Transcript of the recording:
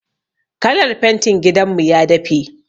Kalar fentin gidan mu ya dafe.